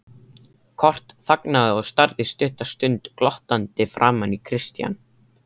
Kort þagnaði og starði stutta stund glottandi framan í Christian.